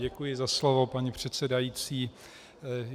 Děkuji za slovo, paní předsedající.